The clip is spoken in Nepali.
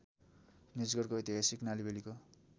निजगढको ऐतिहासिक नालिबेलिको